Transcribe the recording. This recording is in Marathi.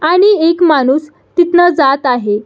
आणि एक माणूस तिथंन जात आहे.